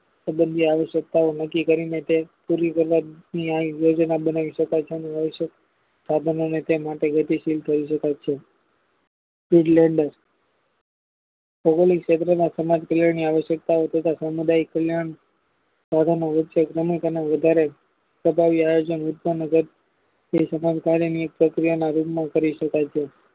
ભૌગોલિક ક્ષેત્રમાં સમાજ કલ્યાણ ની આવશ્યકતાઓ તથા સામુદાયિક કલ્યાણ સાધનો વચ્ચે શ્રમિક અને વધારે ફગાબી આયોજન રોજ ગારનું કદ પ્રક્રિયામાં અમલ કરી શકાય છે.